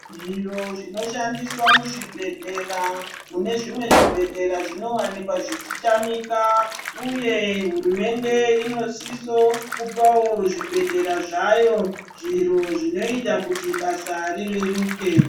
Zviro zvinoshandiswa muzvibhehlera mune zvimwe zvibhehlera zvinowanikwa zveichitamika uye hurumende inosisa kupawo zvibhehlera zvayo zviro zvinoita kuti basa rireruke.